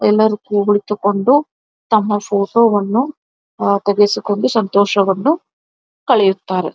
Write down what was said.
ಎಲ್ಲಾರ್ ಕೂಗುಳಿತುಕೊಂಡು ತಮ್ಮ ಫೋಟೋವನ್ನು ತೆಗೆಸಿಕೊಂಡು ಸಂತೋಷವನ್ನು ಕಳೆಯುತ್ತಾರೆ.